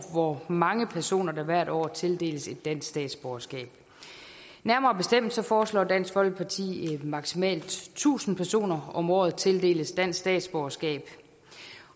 hvor mange personer der hvert år tildeles dansk statsborgerskab nærmere bestemt foreslår dansk folkeparti at maksimalt tusind personer om året tildeles dansk statsborgerskab